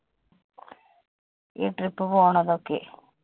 ഈ trip പോണതൊക്കെ.